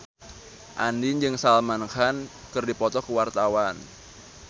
Andien jeung Salman Khan keur dipoto ku wartawan